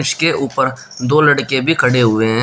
उसके ऊपर दो लड़के भी खड़े हुए हैं।